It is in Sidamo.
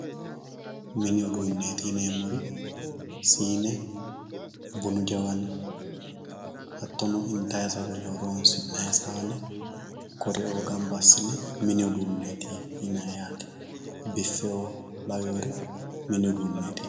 minni uduneti yinemohu sinne bunnu jawanni initayi sagale horonsinayi sane kuriu ganba asine minni uduneti yinayi yatte biffeo yinayire minni udunetti yinayi